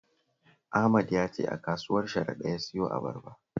Ahmad ya ce a kasuwar Sharada ya siyo abarbar